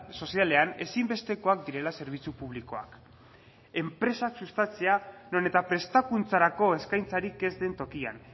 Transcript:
sozialean ezinbestekoak direla zerbitzu publikoak enpresak sustatzea non eta prestakuntzarako eskaintzarik ez den tokian